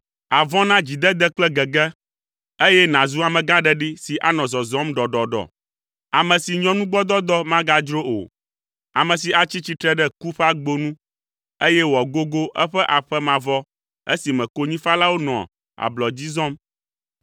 Àvɔ̃ na dzidede kple gege, eye nàzu amegãɖeɖi si anɔ zɔzɔm ɖɔɖɔɖɔ, ame si nyɔnugbɔdɔdɔ magadzro o, ame si atsi tsitre ɖe ku ƒe agbo nu, eye wòagogo eƒe aƒe mavɔ esime konyifalawo nɔa ablɔ dzi zɔm.